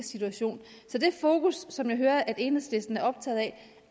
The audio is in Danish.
situation så det fokus som jeg hører at enhedslisten er optaget af